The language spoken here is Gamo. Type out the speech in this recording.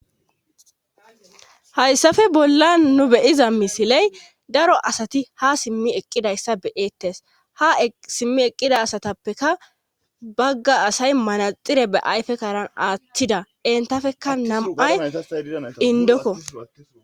hayssafe bolla nu beyiza misiley daro asati ha simmi eqqidayssa be7ettes ha simmi eqqida asatappeka bagga asay manaxire be ayfe kaaran aatthida entafeka namay indokko